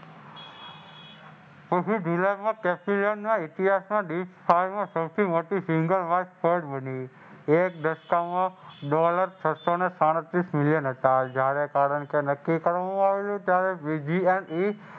ઇતિહાસમાં સૌથી મોટ બની.